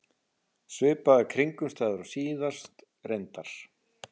Svipaðar kringumstæður og síðast, reyndar.